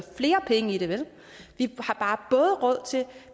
flere penge i det vel vi har bare både råd til